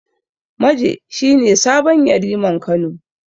Maje shi ne sabon Yariman Kano.